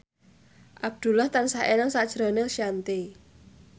Abdullah tansah eling sakjroning Shanti